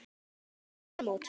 Við förum út.